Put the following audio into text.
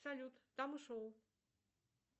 салют